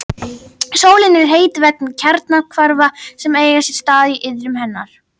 Sólin er heit vegna kjarnahvarfa sem eiga sér stað í iðrum hennar.